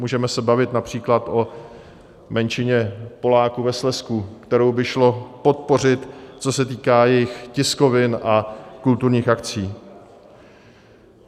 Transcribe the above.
Můžeme se bavit například o menšině Poláků ve Slezsku, kterou by šlo podpořit, co se týká jejich tiskovin a kulturních akcí.